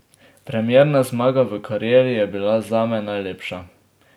Premierna zmaga v karieri je bila zame najlepša.